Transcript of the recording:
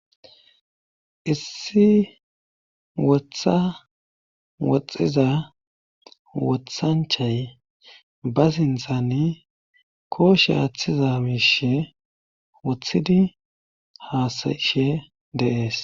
Issi wotha woxxiza wothanchay ba zindtzani kooshe aaththiza miishe wothidi haasayishe dees.